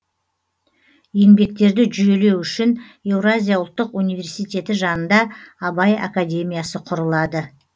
еңбектерді жүйелеу үшін еуразия ұлттық университеті жанында абай академиясы құрылады